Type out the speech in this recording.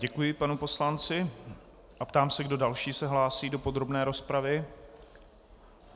Děkuji panu poslanci a ptám se, kdo další se hlásí do podrobné rozpravy.